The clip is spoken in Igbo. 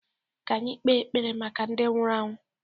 ka anyị kpee ekpere maka ndị nwụrụ anwụ